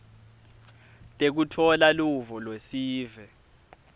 tekutfola luvo lwesive